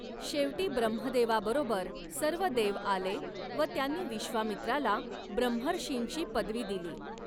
शेवटी ब्रह्मदेवाबरोबर सर्व देव आले व त्यांनी विश्वामित्राला ब्रह्मर्षींची पदवी दिली.